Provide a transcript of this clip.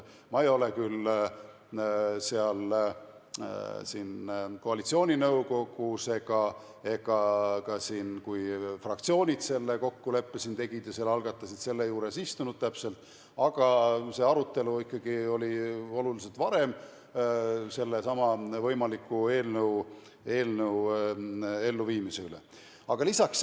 Ma ei ole küll koalitsiooninõukogus ega ka siin, kui fraktsioonid selle kokkuleppe siin tegid ja selle algatasid, selle juures istunud, aga see arutelu sellesama võimaliku eelnõu elluviimise üle on toimunud ikkagi oluliselt varem.